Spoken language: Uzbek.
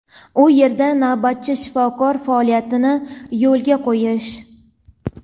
u yerda navbatchi shifokor faoliyatini yo‘lga qo‘yish.